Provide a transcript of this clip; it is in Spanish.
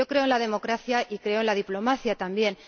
Yo creo en la democracia y creo en la diplomacia también.